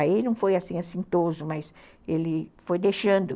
Aí não foi assim assintoso, mas ele foi deixando.